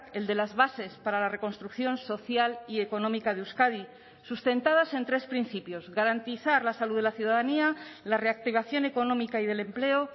el de las bases para la reconstrucción social y económica de euskadi sustentadas en tres principios garantizar la salud de la ciudadanía la reactivación económica y del empleo